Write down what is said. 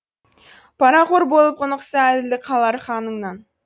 парақор болып құнықса әділдік қалар ханыңнан